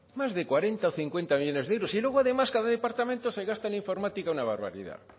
más de cuarenta o cincuenta millónes de euros y luego además cada departamento se gasta en informática una barbaridad